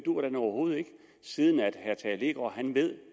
overhovedet ikke siden herre tage leegaard ved